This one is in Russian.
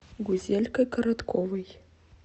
гузелькой коротковой